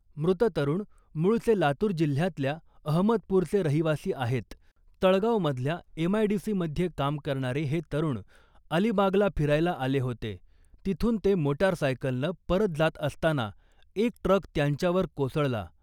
मृत तरुण मूळचे लातूर जिल्ह्यातल्या अहमदपूरचे रहिवासी आहेत, तळगावमधल्या एमआयडीसीमध्ये काम करणारे हे तरुण अलिबागला फिरायला आले होते. तिथून ते मोटारसायकलनं परत जात असताना एक ट्रक त्यांच्यावर कोसळला .